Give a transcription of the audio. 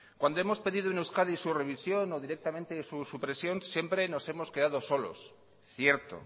cuando hemos pedido en euskadi su revisión o directamente su supresión siempre nos hemos quedado solos cierto